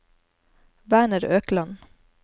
Werner Økland